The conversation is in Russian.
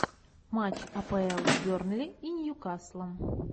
матч апл бернли и ньюкаслом